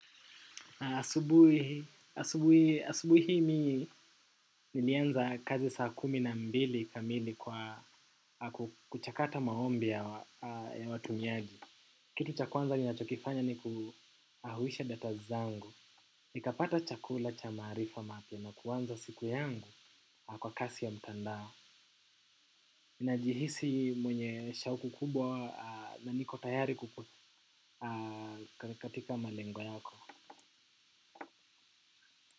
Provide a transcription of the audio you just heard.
Asubui hii mimi nilianza kazi saa kumi na mbili kamili kwa kuchakata maombi ya watumiaji. Kitu cha kwanza ni nachokifanya ni kuahuisha data zangu. Ni kapata chakula cha maarifa mapya na kuanza siku yangu kwa kasi ya mtandao. Ninajihisi mwenye shauku kubwa na niko tayari katika malengo yako.